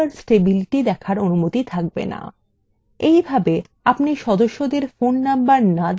in ভাবে আপনি সদস্যদের phone নম্বর names দেখেও শুধুমাত্র তাদের names দেখতে পারেন